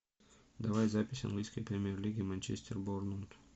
давай запись английской премьер лиги манчестер борнмут